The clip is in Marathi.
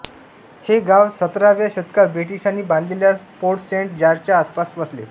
हे गाव सतराव्या शतकात ब्रिटिशांनी बांधलेल्या फोर्ट सेंट जॉर्जच्या आसपास वसले